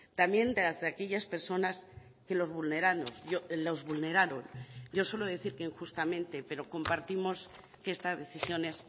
también de las de aquellas personas que los vulneraron yo suelo decir que injustamente pero compartimos que estas decisiones